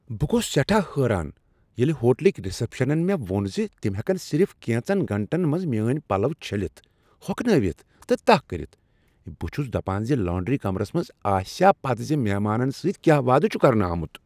بہٕ گوس سیٹھا حٲران ییٚلہ ہوٹلٕکۍ رسپشنن مےٚ ووٚن زِ تم ہیکن صرف کینژن گٲنٹن منز میٲنۍ پلو چھٔلتھ، ہۄکھنٲوتھ تہٕ تہہ کٔرتھ۔ بہٕ چھس دپان ز لانڈری کمرس آسیا یہ پتہ ز مہمانن سۭتۍ کیا وعدٕ چھ کرنہٕ آمت۔